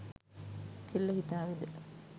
කෙල්ල හිතාවිද